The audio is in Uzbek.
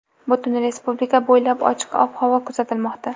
Butun respublika bo‘ylab ochiq ob-havo kuzatilmoqda.